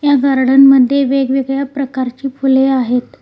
या गार्डन मध्ये वेगवेगळ्या प्रकारची फुले आहेत.